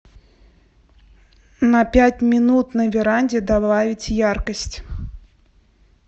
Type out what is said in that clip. на пять минут на веранде добавить яркость